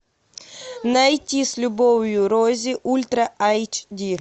найти с любовью рози ультра айч ди